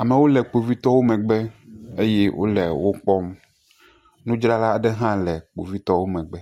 amewo le kpovitɔwo megbe eye wole wokpɔm nudzrala aɖe ha le kpovitɔwo megbe